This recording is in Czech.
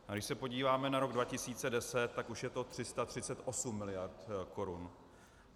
Když se podíváme na rok 2010, tak už je to 338 miliard korun.